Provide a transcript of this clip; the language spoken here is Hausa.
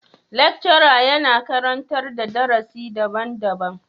Lecturer yana karantar da darusi daban-daban.